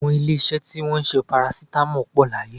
Àwọn ilé-iṣẹ́ tí wọn ń ṣe parasitamọ́ọ̀ pọ̀ láyé